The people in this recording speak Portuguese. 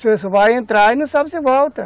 Você só vai entrar e não sabe se volta.